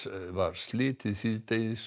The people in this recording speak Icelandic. var slitið síðdegis